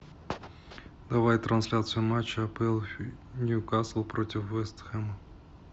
давай трансляцию матча апл ньюкасл против вест хэма